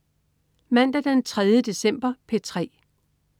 Mandag den 3. december - P3: